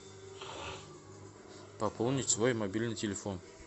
пополнить свой мобильный телефон